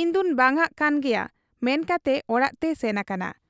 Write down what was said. ᱤᱧᱫᱚᱧ ᱵᱟᱝᱟᱜ ᱠᱟᱱ ᱜᱮᱭᱟ ᱢᱮᱱ ᱠᱟᱛᱮ ᱚᱲᱟᱜ ᱛᱮᱭ ᱥᱮᱱ ᱟᱠᱟᱱᱟ ᱾